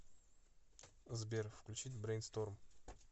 сбер включить брейнсторм